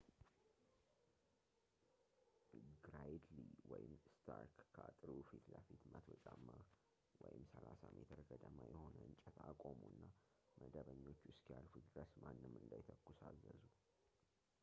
ግራይድሊ ወይም ስታርክ ከአጥሩ ፊትለፊት 100 ጫማ 30 ሜ ገደማ የሆነ እንጨት አቆሙና መደበኞቹ እስኪያልፉት ድረስ ማንም እንዳይተኩስ አዘዙ